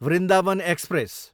Vrindavan express